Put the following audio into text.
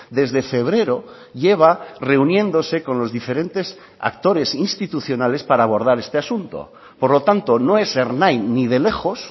desde febrero lleva reuniéndose con los diferentes actores institucionales para abordar este asunto por lo tanto no es ernai ni de lejos